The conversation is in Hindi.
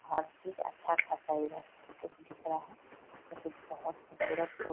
हर चीज अच्छा खासा है इधर सब कुछ दिख रहा है जो कि बहोत खुबसूरत बो --